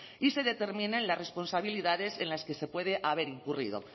y se determinen las responsabilidades en las que se puede haber incurrido